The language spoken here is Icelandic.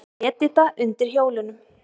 Edita undir hjólunum.